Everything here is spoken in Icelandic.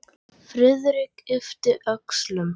Friðrik yppti öxlum.